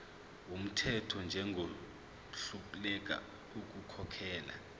wumthetho njengohluleka ukukhokhela